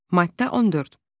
Maddə 14.